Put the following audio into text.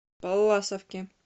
палласовке